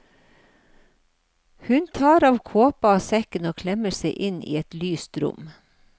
Hun tar av kåpa og sekken og klemmer seg inn i et lyst rom.